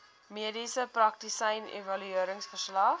mediese praktisyn evalueringsverslag